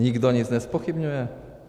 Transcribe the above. Nikdo nic nezpochybňuje?